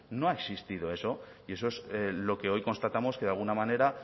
no ha existido eso y eso es lo que hoy constatamos que de alguna manera